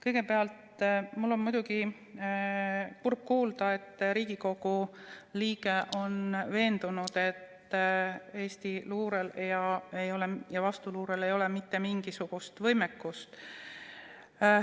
Kõigepealt, mul on muidugi kurb kuulda, et Riigikogu liige on veendunud, et Eesti luurel ja vastuluurel ei ole mitte mingisugust võimekust.